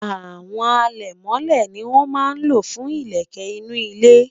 àwọn alemole ní wọn má ló fún ilele inú ile